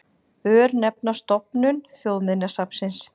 Örnefnastofnun Þjóðminjasafns.